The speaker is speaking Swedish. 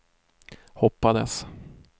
hoppades